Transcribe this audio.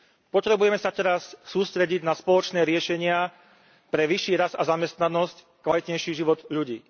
Potrebujeme sa teraz sústrediť na spoločné riešenia pre vyšší rast a zamestnanosť, kvalitnejší život ľudí.